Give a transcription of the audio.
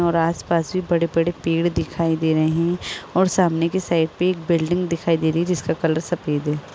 और आस-पास भी बड़े-बड़े पेड़ दिखाई दे रह हैं और सामने के साइड एक बिल्डिंग दिखाई दे रही जिसका कलर सफ़ेद है।